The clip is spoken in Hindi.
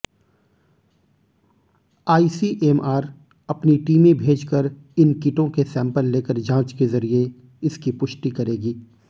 आईसीएमआर अपनी टीमें भेजकर इन किटों के सैंपल लेकर जांच के जरिये इसकी पुष्टि करेगी